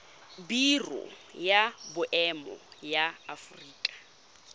biro ya boemo ya aforika